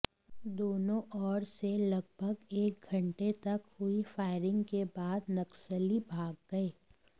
दोनों ओर से लगभग एक घंटे तक हुई फायरिंग के बाद नक्सली भाग गए